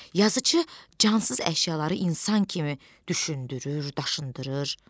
Yazıçı cansız əşyaları insan kimi düşündürür, daşındırır.